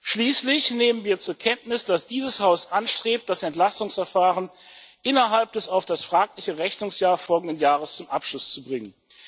Schließlich nehmen wir zur Kenntnis, dass dieses Haus anstrebt, das Entlastungsverfahren innerhalb des auf das fragliche Rechnungsjahr folgenden Jahres zum Abschluss zu bringen.